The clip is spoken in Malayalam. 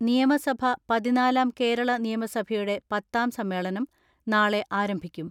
നിയമസഭ പതിനാലാം കേരള നിയമസഭയുടെ പത്താം സമ്മേളനം നാളെ ആരംഭിക്കും.